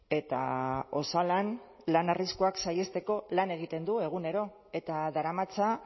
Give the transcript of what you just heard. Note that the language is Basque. eta osalan lan arriskuak saihesteko lan egiten du egunero eta daramatza